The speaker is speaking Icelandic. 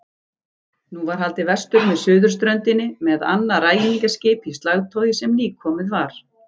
Nú var haldið vestur með suðurströndinni með annað ræningjaskip í slagtogi sem nýkomið var.